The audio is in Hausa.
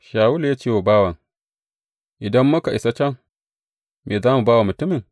Shawulu ya ce wa bawan, Idan muka isa can, me za mu ba wa mutumin?